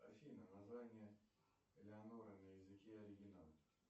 афина название элеонора на языке оригинала